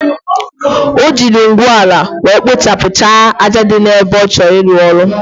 Ojiri Ngwuola were kpochapu cha aja di na ebe ochor ilu ulo.